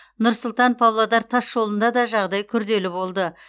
нұр сұлтан павлодар тасжолында да жағдай күрделі болды